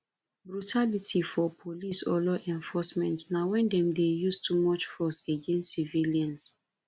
brutality for police or law enforcement na when dem dey use too much force against civilians